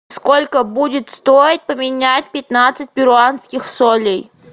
сколько будет стоить поменять пятнадцать перуанских солей